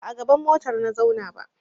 Ba a gaban motar na zauna ba.